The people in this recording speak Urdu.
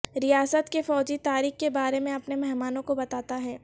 ریاست کے فوجی تاریخ کے بارے میں اپنے مہمانوں کو بتاتا ہے